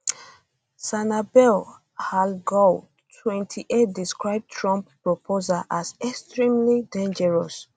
sanabel alghoul 28 describe trump proposals as extremely dangerous